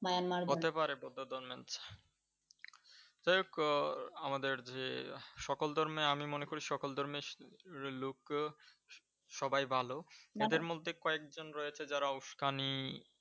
হতে পারে বৌদ্ধ ধর্মের, যাইহোক আমাদের যে সকল ধর্মে, আমি মনে করি সকল ধর্মে লোক সবাই ভালো, যাদের মধ্যে কয়েকজন রয়েছে যারা উস্কানি ।